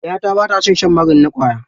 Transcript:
Ƴata ba ta son shan magani na ƙwaya.